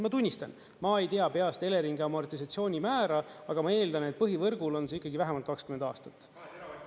Ma tunnistan, ma ei tea peast Eleringi amortisatsioonimäära, aga ma eeldan, et põhivõrgul on see ikkagi vähemalt 20 aastat.